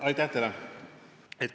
Aitäh teile!